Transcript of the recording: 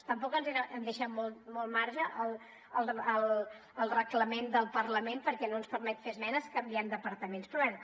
tampoc han deixat molt marge al reglament del parlament perquè no ens permet fer esmenes canviant departaments però bé